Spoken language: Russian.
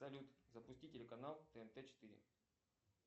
салют запусти телеканал тнт четыре